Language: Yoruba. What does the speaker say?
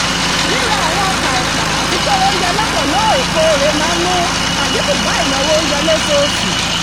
ríra àwọn ọkà ẹ̀pà àti kóró oúnjẹ lọ́pọ̀ lóòèkóòrè máa ń mú àdínkù bá ìnáwó oúnjẹ lóṣooṣù